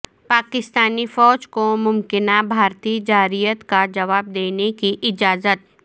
پاکستانی فوج کو ممکنہ بھارتی جارحیت کا جواب دینے کی اجازت